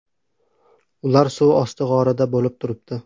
Ular suv osti g‘orida bo‘lib turibdi.